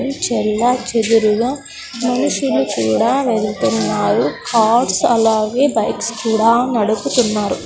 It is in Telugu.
ఉమ్ చెల్లాచెదురుగా మనుషులు కూడా వెళ్తున్నారు కార్స్ అలాగే బైక్స్ కూడా నడుపుతున్నారు.